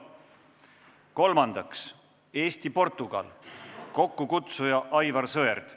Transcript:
Kolmandaks, Eesti-Portugal, kokkukutsuja on Aivar Sõerd.